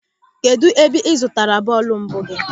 Kedụ ebe ị zụtara bọọlụ mbụ gị?